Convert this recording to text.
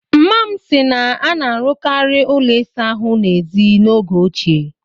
Mma m si na a na-arụkarị ụlọ ịsa ahụ n'èzí n'oge ochie